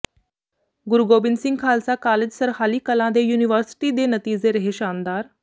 ਗੁਰੂ Gobind Singh Khalsa college Sarhali Kalan ਦੇ university ਦੇ ਨਤੀਜ਼ੇ ਰਹੇ ਸ਼ਾਨਦਾਰ